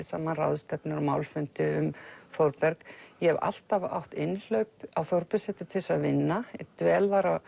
saman ráðstefnur og málfundi um Þórberg ég hef alltaf átt innhlaup á Þórbergssetur til þess að vinna ég dvel þar